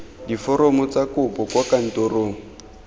diforomo tsa kopo kwa kantorong